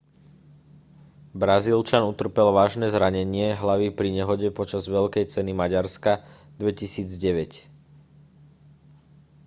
brazílčan utrpel vážne zranenie hlavy pri nehode počas veľkej ceny maďarska 2009